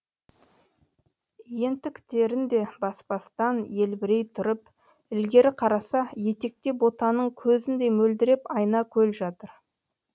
ентіктерін де баспастан елбірей тұрып ілгері қараса етекте ботаның көзіндей мөлдіреп айна көл жатыр